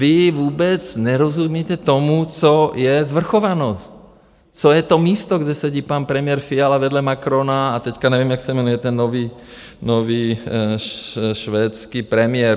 Vy vůbec nerozumíte tomu, co je svrchovanost, co je to místo, kde sedí pan premiér Fiala vedle Macrona, a teď nevím, jak se jmenuje ten nový švédský premiér.